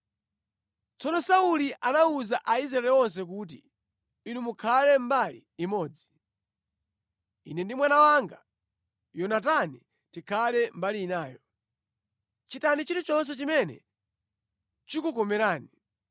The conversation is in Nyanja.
Tsono Sauli anawuza Aisraeli onse kuti, “Inu mukhale mbali imodzi. Ine ndi mwana wanga Yonatani tikhala mbali inayo.” “Chitani chilichonse chimene chikukomerani.”